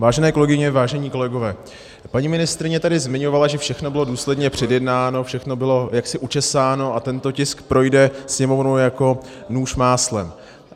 Vážené kolegyně, vážení kolegové, paní ministryně tady zmiňovala, že všechno bylo důsledně předjednáno, všechno bylo jaksi učesáno a tento tisk projde Sněmovnou jako nůž máslem.